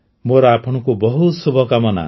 ମୋର ଆପଣଙ୍କୁ ବହୁତ ଶୁଭକାମନା